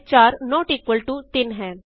ਅਤੇ 4 not equal to 3 ਹੈ